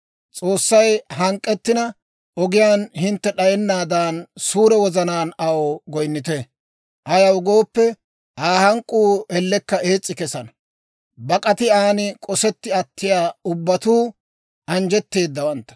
S'oossay hank'k'ettina, ogiyaan hintte d'ayennaadan suure wozanaan aw goynnite; ayaw gooppe, Aa hank'k'uu ellekka ees's'i kesana. Bak'ati an k'osetti attiyaa ubbatuu anjjetteedawantta.